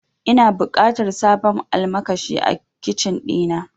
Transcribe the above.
Ina buƙatar sabon almakashi a Kicin ɗina.